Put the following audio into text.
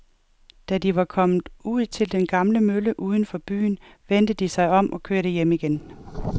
Da de var kommet ud til den gamle mølle uden for byen, vendte de om og kørte hjem igen.